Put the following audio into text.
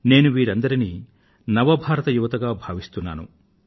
నేను వీరందరినీ new India యువత గా భావిస్తున్నాను